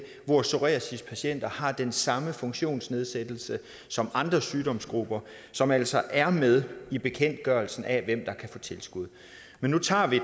hvor psoriasispatienter har den samme funktionsnedsættelse som andre sygdomsgrupper som altså er med i bekendtgørelsen af hvem der kan få tilskud nu tager vi